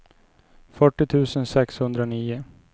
fyrtio tusen sexhundranio